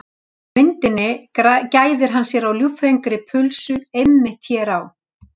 Á myndinni gæðir hann sér á ljúffengri pulsu, einmitt hér á